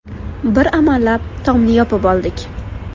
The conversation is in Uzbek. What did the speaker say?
Bir amallab, tomni yopib oldik.